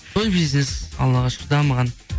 той бизнес аллаға шүкір дамыған